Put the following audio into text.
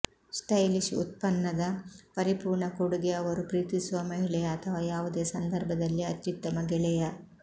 stylish ಉತ್ಪನ್ನದ ಪರಿಪೂರ್ಣ ಕೊಡುಗೆ ಅವರು ಪ್ರೀತಿಸುವ ಮಹಿಳೆಯ ಅಥವಾ ಯಾವುದೇ ಸಂದರ್ಭದಲ್ಲಿ ಅತ್ಯುತ್ತಮ ಗೆಳೆಯ